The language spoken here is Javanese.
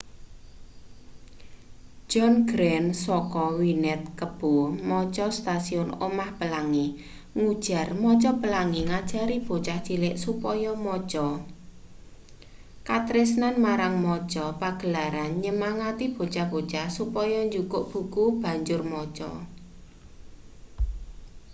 john grant saka wned kebo maca stasiun omah pelangi ngujar maca pelangi ngajari bocah cilik supaya maca,... katresnan marang maca — [pagelaran] nyemangati bocah-bocah supaya jukuk buku banjur maca.